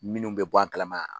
Minnu bɛ bɔ a kalama